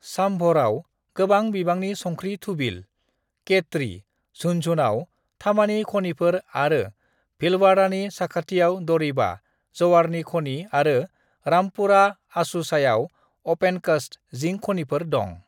"साम्भराव गोबां बिबांनि संख्रि थुबिल, केट्रि, झुन्झुनुआव थामानि खनिफोर आरो भीलवाड़ानि साखाथियाव दरिबा, जवारनि खनि आरो रामपुरा अगुचायाव (अपेनकास्ट) जिंक खनिफोर दं।"